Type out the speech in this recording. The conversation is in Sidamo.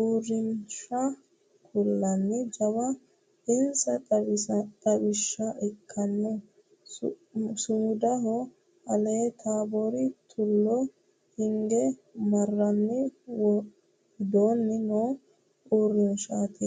uurrinsha kulano jawa insa xawisha ikkinoho su'mudaho ale Taabbori tulo hinge marrani widooni no uurrinshati .